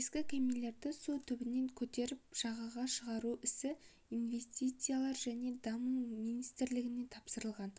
ескі кемелерді су түбінен көтеріп жағаға шығару ісі инвестициялар және даму министрлігіне тапсырылған